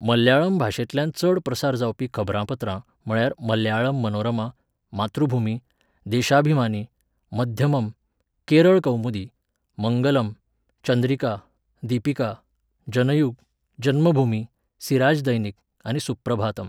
मल्याळम भाशेंतल्यान चड प्रसार जावपी खबरांपत्रां म्हळ्यार मल्याळम मनोरमा, मातृभुमी, देशाभिमानी, मध्यमम, केरळ कौमुदी, मंगलम, चंद्रिका, दीपिका, जनयुग, जन्मभूमि, सिराज दैनिक आनी सुप्रभातम.